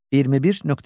21.1.